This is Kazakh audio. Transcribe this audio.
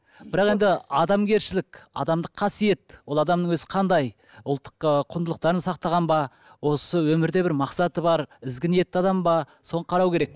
бірақ енді адамгершілік адамдық қасиет ол адамның өзі қандай ұлттық ы құндылықтарын сақтаған ба осы өмірде бір мақсаты бар ізгі ниетті адам ба соны қарау керек